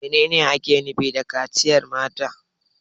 Menene ake nufi da kaciyar mata?